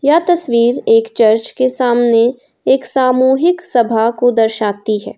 यह तस्वीर एक चर्च के सामने एक सामूहिक सभा को दर्शाती हैं।